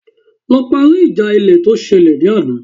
Lọ parí ìjà ilẹ̀ tó ṣẹlẹ̀ ní àná